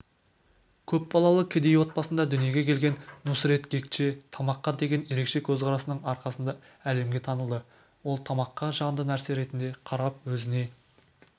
көп балалы кедей отбасында дүниеге келген нусрет гкче тамаққа деген ерекше көзқарасының арқасында әлемге танылды ол тамаққа жанды нәрсе ретінде қарап өзіне